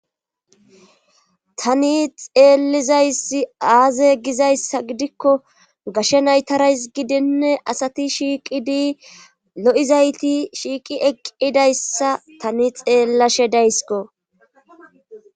tani xeellizayssi aaze gizayssa gidikko gashe naytarays gidinne asati shiiqidi lo7izayti shiiqi eqqidayssa tani xeellashe daysko